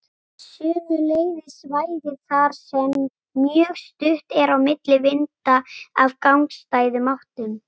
Sömuleiðis svæði þar sem mjög stutt er á milli vinda af gagnstæðum áttum.